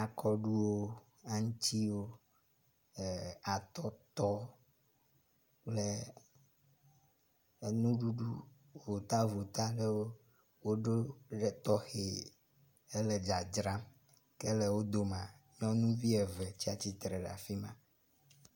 Akɔɖuwo, aŋtsiwo, e atɔtɔ kple enuɖuɖu votavota ɖewo woɖo wo ɖe tɔxɔ hele dzadzram. Ke le wo domea nyɔnuvi eve tsi atsitre ɖe afi ma.